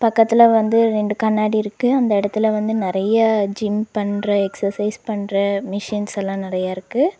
பக்கத்துல வந்து ரெண்டு கண்ணாடி இருக்கு அந்த எடத்துல வந்து நெறைய ஜிம் பண்ற எக்சசைஸ் பண்ற மெஷின்ஸ் எல்லா நெறையா இருக்கு.